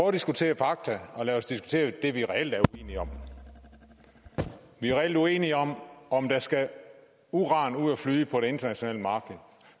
at diskutere fakta og lad os diskutere det vi reelt er uenige om vi er reelt uenige om om der skal uran ud at flyde på det internationale marked